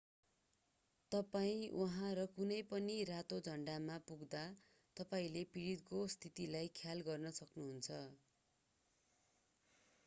तपाईं उहाँ र कुनै पनि रातो झन्डामा पुग्दा तपाईंले पीडितको स्थिति ख्याल गर्न सक्नुहुन्छ